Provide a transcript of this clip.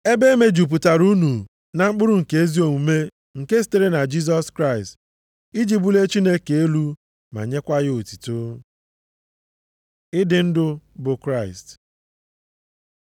Ebe e mejupụtara unu na mkpụrụ nke ezi omume nke sitere na Jisọs Kraịst iji bulie Chineke elu ma nyekwa ya otuto. Ịdị ndụ bụ Kraịst